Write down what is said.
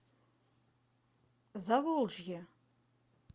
заволжье